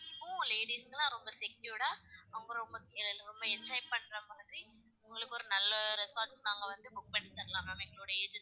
Kids க்கும் ladies க்குல்லா ரொம்ப secured டா ரொம்ப ரொம்ப ரொம்ப enjoy பண்ற மாதிரி உங்களுக்கு ஒரு நல்ல resort நாங்க வந்து book பண்ணி தரலாம் ma'am எங்களோட agency,